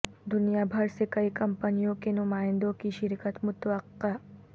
دنیا بھر سے کئی کمپنیوں کے نمائندوں کی شرکت متوقع